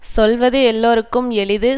சொல்லுவது எல்லோருக்கும் எளிது